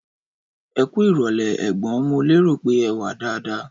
Ẹkú irọlẹ ẹgbọn, mo lérò pé ẹwà dada